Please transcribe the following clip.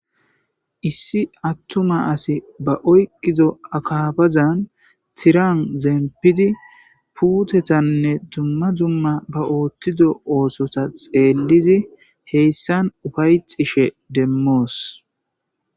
Issi atuma asati ba oyqizo akkafazan tiran zempidi putetanne ba otiza mishata xelizaysi bettes.